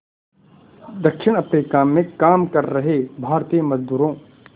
दक्षिण अफ्रीका में काम कर रहे भारतीय मज़दूरों